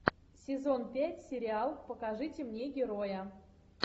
сезон пять сериал покажите мне героя